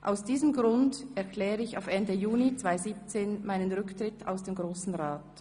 Aus diesem Grund erkläre ich auf Ende Juni 2017 meinen Rücktritt aus dem Grossen Rat.